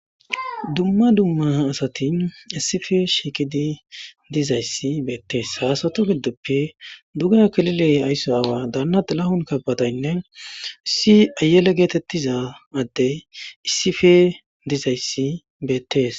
Dumma dumma asati issippe shiiqidi dizayssi beetees. Asatu didoppe dugeha aysso kilile daana xilahon kabadaynne issi ayele getetiza adde issippe dizayssi beettees.